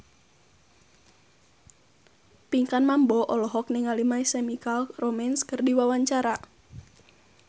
Pinkan Mambo olohok ningali My Chemical Romance keur diwawancara